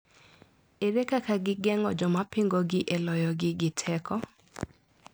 Ere kaka gigeng`o jomapingogi e loyogi gi teko?